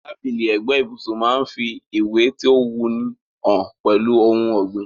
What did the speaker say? Tábìlì ẹ̀gbẹ́ ibùsun máa n fi ìwé to wuni han pẹ́lu oun ògbìn